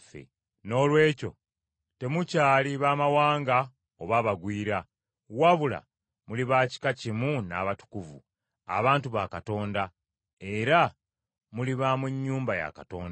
Noolwekyo temukyali baamawanga oba abagwira, wabula muli ba kika kimu n’abatukuvu, abantu ba Katonda, era muli ba mu nnyumba ya Katonda.